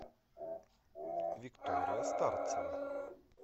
виктория старцева